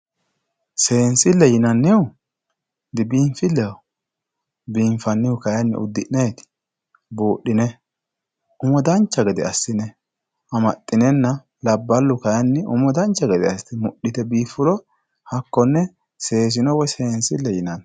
seensilleho yinannihu dibiinfilleho biinfannihu kayiinni di uddi'ne buudhine umo dancha gede assine amaxxinenna labballu kayiinni umo dancha gede asse mudhite biiffuro hakkonne seesino woyi biifino yinanni.